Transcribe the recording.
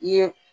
I ye